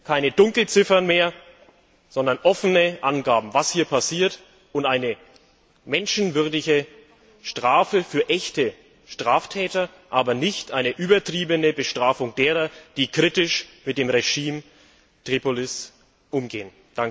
Keine Dunkelziffern mehr, sondern offene Angaben darüber, was hier passiert, und eine menschenwürdige Strafe für echte Straftäter, aber nicht eine übertriebene Bestrafung derer, die kritisch mit dem Regime in Tripolis umgehen.